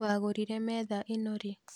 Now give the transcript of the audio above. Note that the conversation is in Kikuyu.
Wagũrire metha ĩno rĩ?